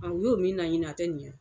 u y'o min naɲini a tɛ ɲɛ.